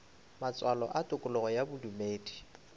matswalo a tokologo ya bodumedi